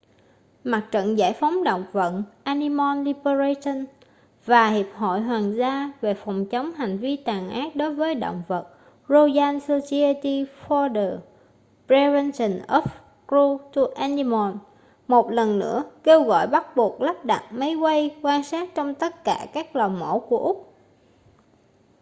mặt trận giải phóng động vật animal liberation và hiệp hội hoàng gia về phòng chống hành vi tàn ác đối với động vật royal society for the prevention of cruelty to animals một lần nữa kêu gọi bắt buộc lắp đặt máy quay quan sát trong tất cả các lò mổ của úc